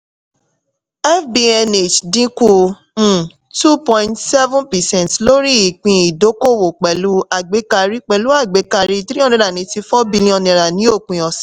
fbnh dínkù um two point seven percent lórí ìpín ìdókòwò pẹ̀lú àgbékarí pẹ̀lú àgbékarí three hundred and eighty-four billion naira ni òpin